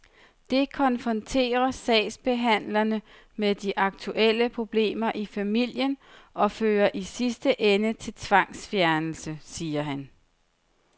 Det konfronterer sagsbehandlerne med de aktuelle problemer i familien og fører i sidste ende til tvangsfjernelse, siger han.